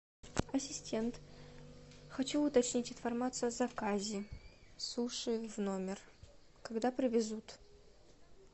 ассистент хочу уточнить информацию о заказе суши в номер когда привезут